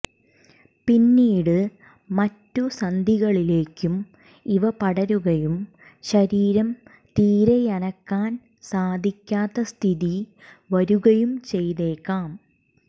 പിന്നീട് മറ്റു സന്ധികളിലേയ്ക്കും ഇവ പടരുകയും ശരീരം തീരെയനക്കാൻ സാധിക്കാത്ത സ്ഥിതി വരുകയും ചെയ്തേക്കാം